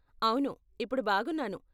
అవును, ఇప్పుడు బాగున్నాను.